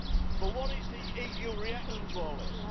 But what is the EU's reaction to all this?